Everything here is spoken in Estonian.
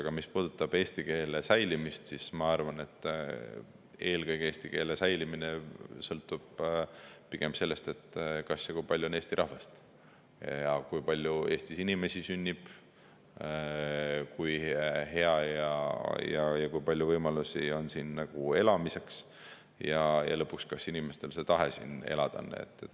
Aga mis puudutab eesti keele säilimist, siis ma arvan, et eelkõige sõltub eesti keele säilimine sellest, kui palju on eesti rahvast ja kui palju Eestis inimesi sünnib, kui hea ja kui palju võimalusi on siin elamiseks, ja lõpuks, kas inimestel on tahe siin elada.